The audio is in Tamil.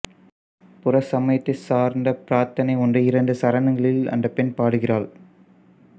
புற சமயத்தை சார்ந்த பிரார்த்தனை ஒன்றை இரண்டு சரணங்களில் அந்தப்பெண் பாடுகிறாள்